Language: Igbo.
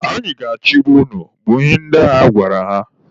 Anyị ga-achịba unu! bụ ihe ndị agha gwara ha.